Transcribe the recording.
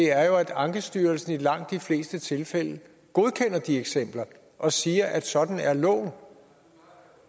er jo at ankestyrelsen i langt de fleste tilfælde godkender de eksempler og siger at sådan er loven